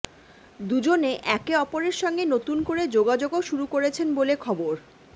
দুজনে একে অপরের সঙ্গে নতুন করে যোগাযোগও শুরু করেছেন বলে খবর